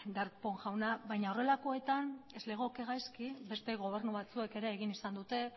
darpón jauna baina horrelakoetan ez legoke gaizki beste gobernu batzuek ere egin izan dute